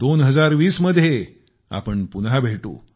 2020 मध्ये आपण पुन्हा भेटू